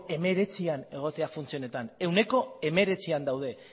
hemeretzian egotea funtze honetan ehuneko hemeretzian daude